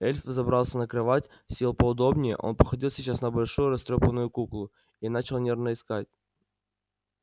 эльф взобрался на кровать сел поудобнее он походил сейчас на большую растрёпанную куклу и начал нервно искать